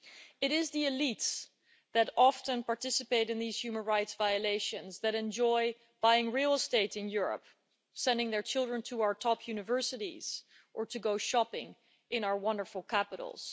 It is the elites who often participate in these human rights violations who enjoy buying real estate in Europe, sending their children to our top universities or going shopping in our wonderful capitals.